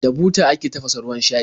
Da buta ake tafasa ruwan shayi.